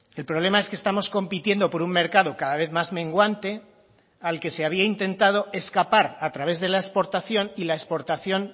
el problema es que estamos compitiendo por un mercado cada vez más menguante al que se había intentado escapar a través de la exportación y la exportación